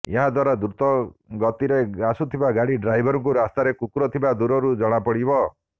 ଏହାଦ୍ୱାରା ଦ୍ରୁତ ଗତିରେ ଆସୁଥିବା ଗାଡି ଡ୍ରାଇଭରଙ୍କୁ ରାସ୍ତାରେ କୁକୁର ଥିବା ଦୂରରୁ ଜଣାପଡିବ